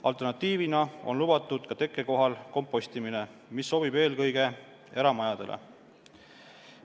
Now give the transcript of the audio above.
Alternatiivina on lubatud tekkekohal kompostimine, mis sobib eelkõige eramajadele.